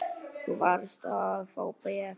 Þú varst að fá bréf.